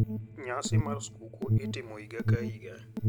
Nyasi mar skuku itimo higa ka higa.